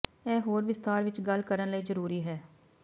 ਇਹ ਹੋਰ ਵਿਸਥਾਰ ਵਿੱਚ ਗੱਲ ਕਰਨ ਲਈ ਜ਼ਰੂਰੀ ਹੈ